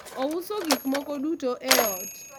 ouso gik moko duto e ot